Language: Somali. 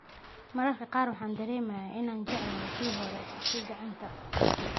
"Mararka qaar waxaan dareemayaa inaan jecelahay kii hore, kii gacanta."